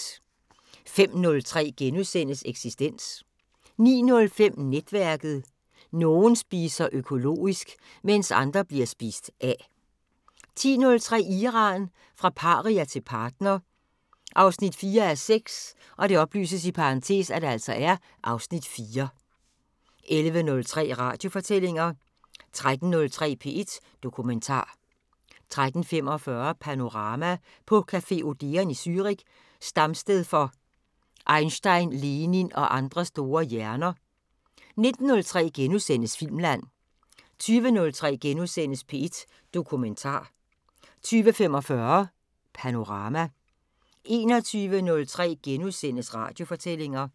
05:03: Eksistens * 09:05: Netværket: Nogen spiser økologisk, mens andre bliver spist af 10:03: Iran – fra paria til partner 4:6 (Afs. 4) 11:03: Radiofortællinger 13:03: P1 Dokumentar 13:45: Panorama: På café Odeon i Zürich, stamsted for Einstein, Lenin og andre store hjerner 19:03: Filmland * 20:03: P1 Dokumentar * 20:45: Panorama 21:03: Radiofortællinger *